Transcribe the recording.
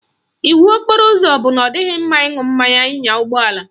Iwu okporo ụzọ bụ na ọ dịghị mma ịṅụ mmanya nya ụgbọala